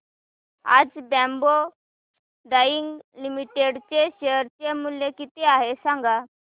आज बॉम्बे डाईंग लिमिटेड चे शेअर मूल्य किती आहे सांगा